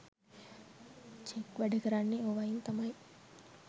Check වැඩ කරන්නෙ ඕවයින් තමයි.